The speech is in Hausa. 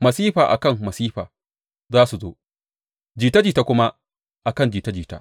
Masifa a kan masifa za su zo, jita jita kuma a kan jita jita.